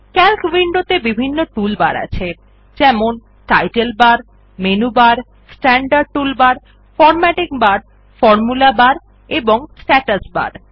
CALC window ত়ে বিভিন্ন toolbar আছে160 যেমন title bar menu bar standard toolbar formatting bar formula bar এবং স্ট্যাটাস বার